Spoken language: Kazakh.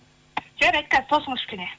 жарайды тосыңыз кішкене